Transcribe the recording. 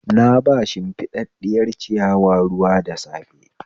Na ba shimfiɗaɗɗiyar ciyawa ruwa da safe